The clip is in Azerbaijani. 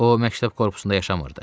O məktəb korpusunda yaşamırdı.